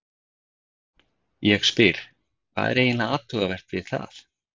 Ég spyr, hvað er eiginlega athugavert við það?